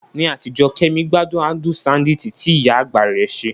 Ní àtijọ́, Kemi gbádùn adùn ṣándíìtì tí ìyá àgbà rẹ̀ ṣe.